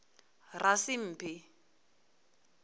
rasimphi